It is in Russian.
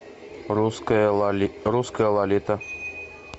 русская лолита